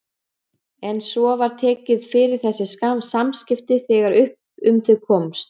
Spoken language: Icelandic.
En svo var tekið fyrir þessi samskipti þegar upp um þau komst.